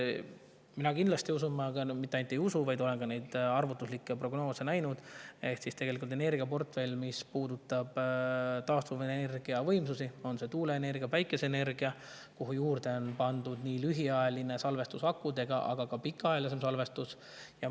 Mina kindlasti usun, ja mitte ainult ei usu, vaid olen ka neid arvutuslikke prognoose näinud, et selles energiaportfellis, mis puudutab taastuvenergiavõimsusi, on tuuleenergia ja päikeseenergia, kuhu juurde on pandud nii lühiajaline salvestus akudega kui ka pikaajalisem salvestus.